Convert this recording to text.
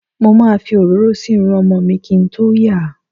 Mo ma fi òróró si Irun ọmọ mi kín tó yà.